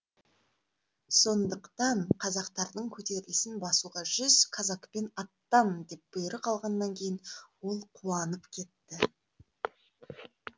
сондықтан қазақтардың көтерілісін басуға жүз казакпен аттан деп бұйрық алғаннан кейін ол қуанып кетті